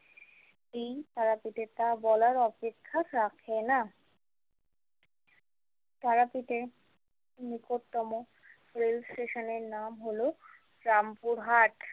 এই তারাপীঠে তা বলার অপেক্ষা রাখে না তারাপীঠের নিকটতম রেল স্টেশনের এর নাম হল রামপুরহাট।